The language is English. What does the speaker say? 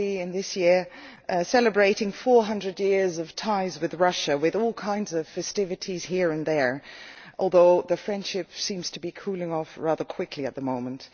this year celebrating 400 years of ties with Russia with all kinds of festivities here and there, although the friendship seems to be cooling off rather quickly at the moment.